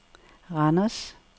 Randers